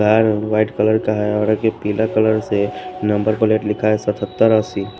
white colour का है और के पीला कलर से नंबर प्लेट लिखा है सतत्तर असि --